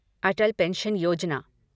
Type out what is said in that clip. अटल pension योजना